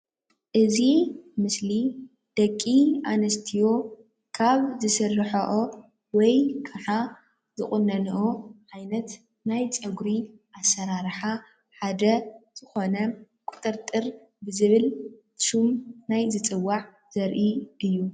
እዚ ምስሊ ደቂ ኣንስትዮ ካብ ዝስርሕኦ ወይ ከዓ ዝቁነንኦ ዓይነት ናይ ፀጉሪ ኣሰራርሓ ሓደ ዝኾነ ቁጥጥር ዝብል ሽም ናይ ዝፅዋዕ ዘርኢ እዩ ።